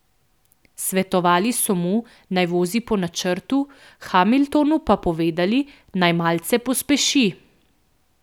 Svetovali so mu, naj vozi po načrtu, Hamiltonu pa povedali, naj malce pospeši.